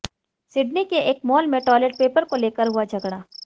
Sydney के एक mall में टॉयलेट पेपर को लेकर हुआ झगड़ा